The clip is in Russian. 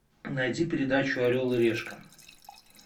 найди передачу орел и решка